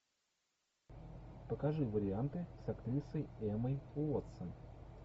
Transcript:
покажи варианты с актрисой эммой уотсон